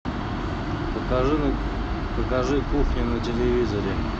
покажи кухня на телевизоре